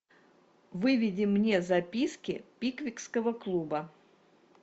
выведи мне записки пиквикского клуба